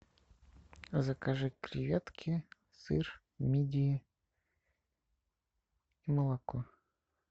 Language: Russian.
закажи креветки сыр мидии и молоко